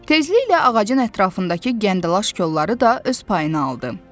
Tezliklə ağacın ətrafındakı gəndəlaş kolları da öz payını aldı.